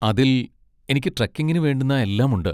അതിൽ എനിക്ക് ട്രെക്കിങ്ങിന് വേണ്ടുന്ന എല്ലാമുണ്ട്.